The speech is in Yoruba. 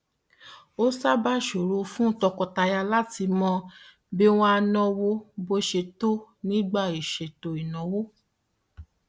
ó sábà ṣòro fún àwọn tọkọtaya láti mọ bí wọn á náwó bó ṣe tọ nígbà ìṣètò ìnáwó